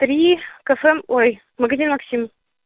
три кафе ой магазин максим